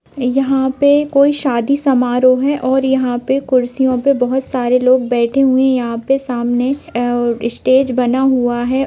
यहां पे कोई शादी समारोह है और यहां पर कुर्सियों पर बहुत सारे लोग बैठे हुए हैं| यहां पे सामने और स्टेज बना हुआ है।